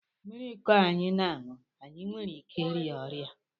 Mmiri kọ anyị n'ahú, anyị nwèrè íké ịria ọrịa